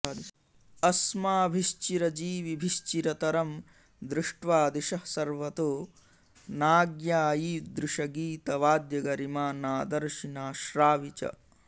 अस्माभिश्चिरजीविभिश्चिरतरं दृष्ट्वा दिशः सर्वतो नाज्ञायीदृशगीतवाद्यगरिमा नादर्शि नाश्रावि च